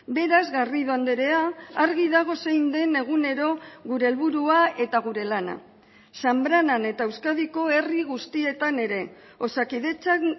beraz garrido andrea argi dago zein den egunero gure helburua eta gure lana zanbranan eta euskadiko herri guztietan ere osakidetzak